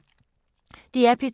DR P2